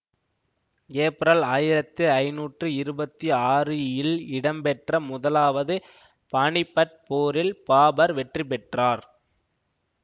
April ஆயிரத்தி ஐந்நூற்றி இருபத்தி ஆறு இல் இடம்பெற்ற முதலாவது பானிப்பட் போரில் பாபர் வெற்றிபெற்றார்